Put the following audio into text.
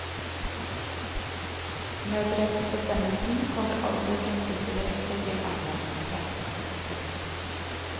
Nødrettsbestemmelsen kommer altså i prinsippet direkte til anvendelse. punktum